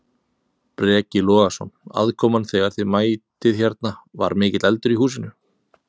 Breki Logason: Aðkoman þegar að þið mætið hérna, var mikill eldur í húsinu?